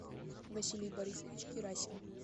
василий борисович герасин